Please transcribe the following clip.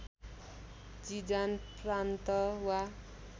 Jizan प्रान्त वा